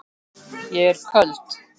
Ég er köld.